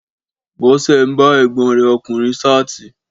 Bọ́sẹ̀ ń bá ègbọ́n rẹ ọkùnrin ṣáàtì